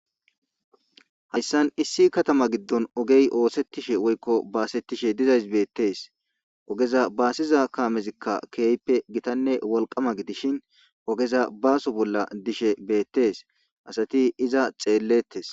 hayssan issi katama giddon ogey oosettishe woykko baasettishe dizays beettees, ogeza baasiza kaamezikka keeyppe gitanne wolqama gidishin ogeza baaso bolla dishe beettes asati iza xeellettes